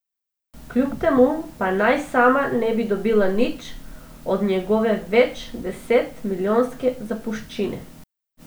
Kljub temu pa naj sama ne bi dobila nič, od njegove več deset milijonske zapuščine.